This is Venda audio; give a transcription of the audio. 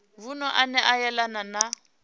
vunu ane a yelana na